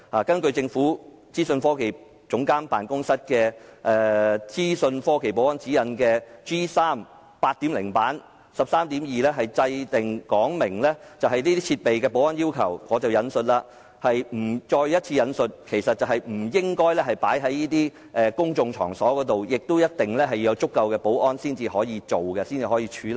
根據政府資訊科技總監辦公室的《資訊科技保安指引第 8.0 版》13.2 條所訂，使用這些設備須符合若干保安要求，包括我再一次引述的不應放在公眾場所，以及必須有足夠保安才可使用和處理。